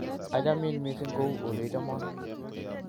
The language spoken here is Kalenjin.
Achamin missing kuu oleichomon